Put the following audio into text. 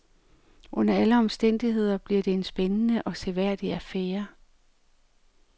Under alle omstændigheder bliver det en spændende og seværdig affære.